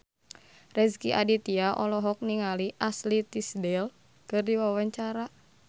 Rezky Aditya olohok ningali Ashley Tisdale keur diwawancara